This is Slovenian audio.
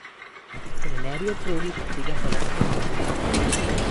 Trenerji ob progi pa tega podatka nimajo.